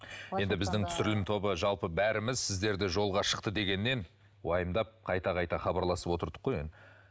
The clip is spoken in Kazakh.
енді біздің түсірілім тобы жалпы бәріміз сізді жолға шықты дегеннен уайымдап қайта қайта хабарласып отырдық қой енді